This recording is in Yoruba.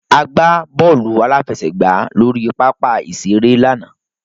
A gbá bọ́ọ̀lù aláfẹsẹ̀gbàá lórí pápá ìṣeré lánàá.